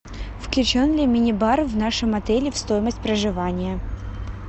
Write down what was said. включен ли мини бар в нашем отеле в стоимость проживания